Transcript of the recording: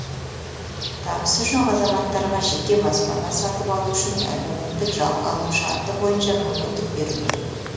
табысы жоқ азаматтарға жеке баспана сатып алу үшін әлеуметтік жалға алу шарты бойынша мүмкіндік беру керек